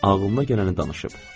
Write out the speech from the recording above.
Ağlına gələni danışıb.